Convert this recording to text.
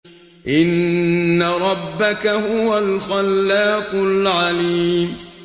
إِنَّ رَبَّكَ هُوَ الْخَلَّاقُ الْعَلِيمُ